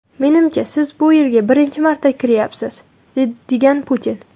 Menimcha, siz bu yerga birinchi marta kiryapsiz”, degan Putin.